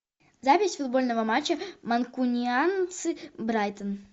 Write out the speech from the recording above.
запись футбольного матча манкунианцы брайтон